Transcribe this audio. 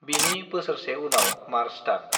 बिनि बोसोरसे उनाव मार्च दान।